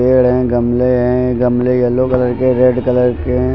पेड़ हैं गमले हैं। गमले येलो कलर के रेड कलर के हैं।